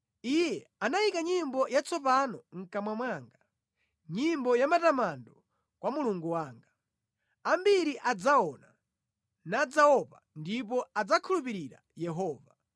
Iye anayika nyimbo yatsopano mʼkamwa mwanga, nyimbo yamatamando kwa Mulungu wanga. Ambiri adzaona, nadzaopa ndipo adzakhulupirira Yehova.